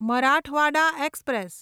Marathwada express